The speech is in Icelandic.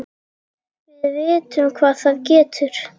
Við vitum hvað það getur!